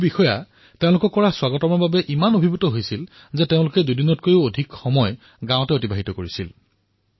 বহুতো বিষয়াই তেওঁলোকৰ স্বাগতমত ইমান অভিভূত হৈ পৰিছিল যে তেওঁলোকে দুদিনতকৈও অধিক সময় সেই গাঁওসমূহত আছিল